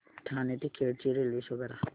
ठाणे ते खेड ची railway show करा